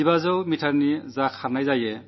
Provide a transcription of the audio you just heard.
ഇപ്രാവശ്യം അതും നടന്നു